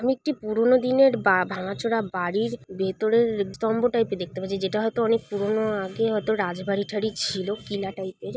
আমি একটি পুরনো দিনের বা ভাঙাচোরা বাড়ির ভেতরের স্তম্ভ টাইপের দেখতে পাচ্ছি যেটা হয়তো অনেক পুরনো আগে হয়তো রাজবাড়িটারি ছিল কিলা টাইপের।